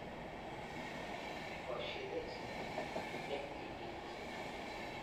Koshinet ne kikiityi.